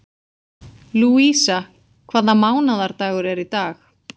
Lúísa, hvaða mánaðardagur er í dag?